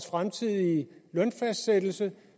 fremtidige lønfastsættelse